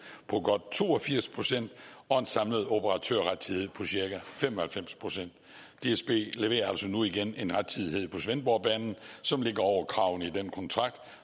på godt to og firs procent og en samlet operatørrettidighed på cirka fem og halvfems procent dsb leverer altså nu igen en rettidighed på svendborgbanen som ligger over kravene i den kontrakt